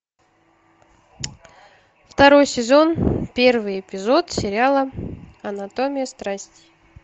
второй сезон первый эпизод сериала анатомия страсти